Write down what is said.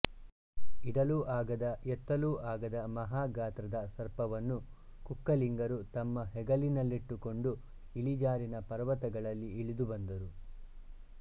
ಇಡಲೂ ಆಗದ ಎತ್ತಲೂ ಆಗದ ಮಹಾ ಗಾತ್ರದ ಸರ್ಪವನ್ನು ಕುಕ್ಕಲಿಂಗರು ತಮ್ಮ ಹೆಗಲಿನಲ್ಲಿಟ್ಟು ಕೊಂಡು ಇಳಿಜಾರಿನ ಪರ್ವತಗಳಲ್ಲಿ ಇಳಿದು ಬಂದರು